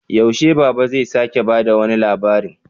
Yaushe Baba zai sake ba da wani labarin?